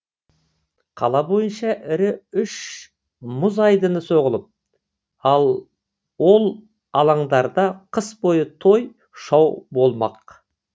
қала бойынша ірі үш мұз айдыны соғылып ол алаңдарда қыс бойы той шау болмақ